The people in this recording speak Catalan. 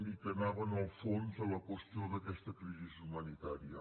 i que anaven al fons de la qüestió d’aquesta crisi humanitària